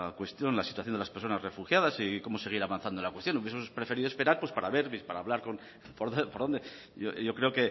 cuestión la situación de las personas refugiadas y cómo seguir avanzando en la cuestión hubiesemos preferido esperar pues para ver para hablar yo creo